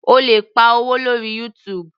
O lè pa owó lórí YouTube.